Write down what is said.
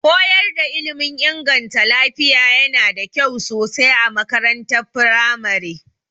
Koyar da ilmin inganta lafiya yana da kyau sosai a makarantar firamare.